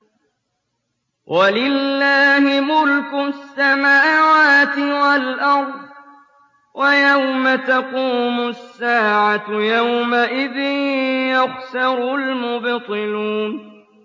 وَلِلَّهِ مُلْكُ السَّمَاوَاتِ وَالْأَرْضِ ۚ وَيَوْمَ تَقُومُ السَّاعَةُ يَوْمَئِذٍ يَخْسَرُ الْمُبْطِلُونَ